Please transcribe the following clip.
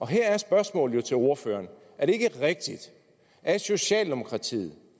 her er spørgsmålet til ordføreren jo er det ikke rigtigt at socialdemokratiet